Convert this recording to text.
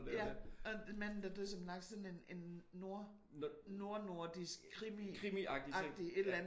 Ja. Og manden der døde som en laks sådan en en nord nordnordisk krimiagtig et eller andet